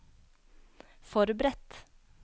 forberedt